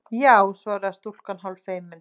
Já- svaraði stúlkan hálffeimin.